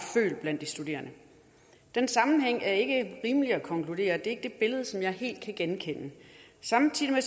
er følelsen blandt de studerende den sammenhæng er det ikke rimeligt at konkludere det er ikke det billede som jeg helt kan genkende samtidig